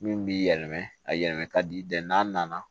Min b'i yɛlɛma a yɛlɛma ka di n'a nana